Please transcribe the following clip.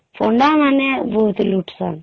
ପଣ୍ଡା ମାନେ ବହୁତ ଲୁଟୁଛନ